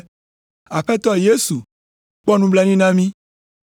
“Aƒetɔ Yesu, kpɔ nublanui na mí!”